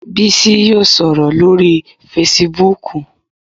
Bísí yóò sọ̀rọ̀ lórii fesibúùkù